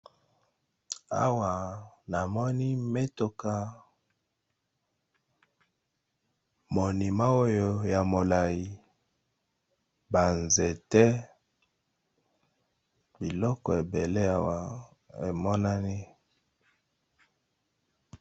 Awa namoni mituka pe na monument moko ya molayi, na biloko misusu ébélé na pembeni nango